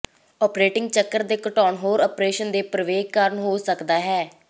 operating ਚੱਕਰ ਘਟਾਉਣ ਹੋਰ ਓਪਰੇਸ਼ਨ ਦੇ ਪ੍ਰਵੇਗ ਕਾਰਨ ਹੋ ਸਕਦਾ ਹੈ